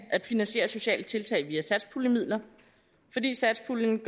at finansiere sociale tiltag via satspuljemidler fordi satspuljen